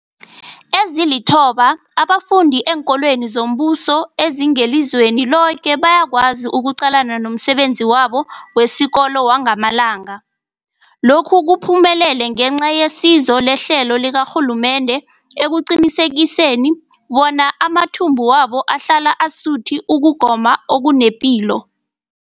Ezilithoba abafunda eenkolweni zombuso ezingelizweni loke bayakwazi ukuqalana nomsebenzi wabo wesikolo wangamalanga. Lokhu kuphumelele ngenca yesizo lehlelo likarhulumende eliqinisekisa bona amathumbu wabo ahlala asuthi ukugoma okunepilo.